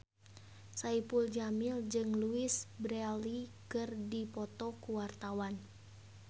Saipul Jamil jeung Louise Brealey keur dipoto ku wartawan